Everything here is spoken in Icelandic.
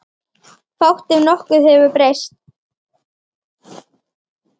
Fátt ef nokkuð hefur breyst.